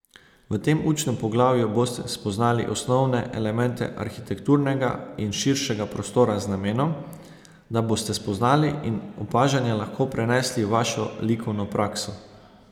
V tem učnem poglavju boste spoznali osnovne elemente arhitekturnega in širšega prostora z namenom, da boste spoznanja in opažanja lahko prenesli v vašo likovno prakso.